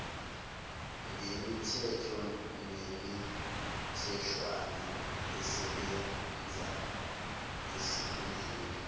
ngemithetho nemitheshwana esebenzaesikhundleni